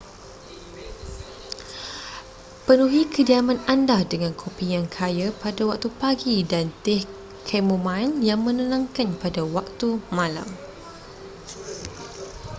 penuhi kediaman anda dengan kopi yang kaya pada waktu pagi dan teh chamomile yang menenangkan pada waktu malam